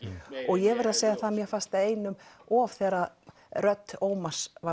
og ég verð að segja það að mér fannst það einum of þegar rödd Ómars